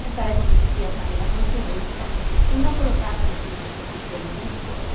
Nessa época existiam famílias muito ricas e não colocavam os meninos pequenos na escola.